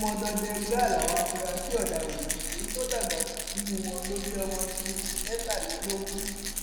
ọmọdọdẹ gbáà làwọn afurasí ọdaràn yìí èyí tó dàgbà jù nínú wọn ló jẹ ọmọọdún mẹtàlélógún